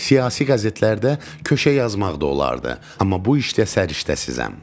Siyasi qəzetlərdə köşə yazmaq da olardı, amma bu işdə səriştəsizəm.